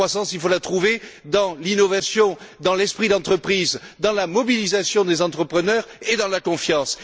La croissance, il faut la trouver dans l'innovation, dans l'esprit d'entreprise, dans la mobilisation des entrepreneurs et dans la confiance.